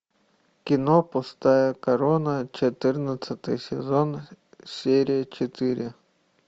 кино пустая корона четырнадцатый сезон серия четыре